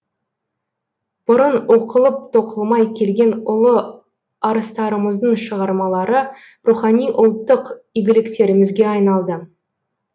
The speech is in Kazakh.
бұрын оқылып тоқылмай келген ұлы арыстарымыздың шығармалары рухани ұлттық игіліктерімізге айналды